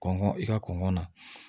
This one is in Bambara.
Kɔngɔ i ka kɔngɔ na